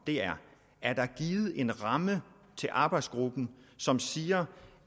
der givet en ramme til arbejdsgruppen som siger